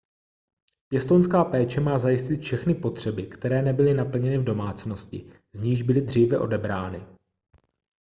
pěstounská péče má zajistit všechny potřeby které nebyly naplněny v domácnosti z níž byly dříve odebrány